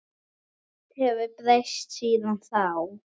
Margt hefur breyst síðan þá.